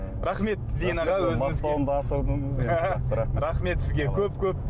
рахмет зейін аға мақтауымды асырдыңыз рахмет сізге көп көп